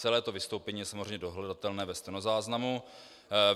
Celé to vystoupení je samozřejmě dohledatelné ve stenozáznamu.